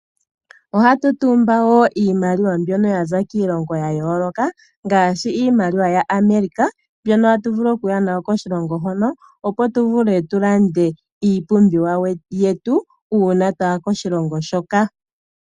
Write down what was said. Ohatu taamba wo iimaliwa yaza kiilongo ya yooloka, ngaashi iimaliwa yaAmerica mbyoka hatu vulu oku ya nayo koshilongo hono opo tu vule oku landa iipumbiwa yetu uuna twaya koshilongo hoka.